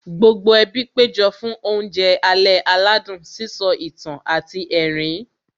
Gbogbo ẹbí péjọ fún oúnjẹ alẹ́ aládùn, sísọ ìtàn àti ẹ̀rín